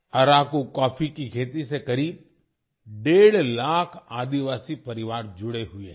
Araku coffee की खेती से करीब डेढ़ लाख आदिवासी परिवार जुड़े हुए हैं